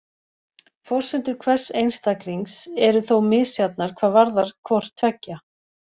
Forsendur hvers einstaklings eru þó misjafnar hvað varðar hvort tveggja.